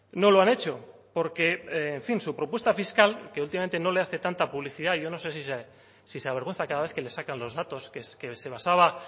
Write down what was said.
no lo han hecho porque en fin su propuesta fiscal que últimamente no le hace tanta publicidad yo no sé si se avergüenza cada vez que le sacan los datos que se basaba